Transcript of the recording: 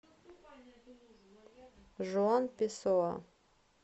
жуан песоа